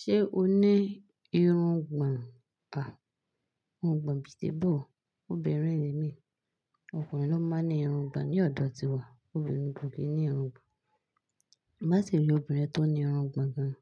Ṣé o ní irun gbon à? Irun gbon bítí bò ó. Òbìrín ni mí, ọkùnrin ló máa ń ní irun gbon ni ọ̀dọ̀ tiwa, obìnrin kò kí ń ní irun gbon. Bá sì rí obìnrin tó ní irun gbon gan,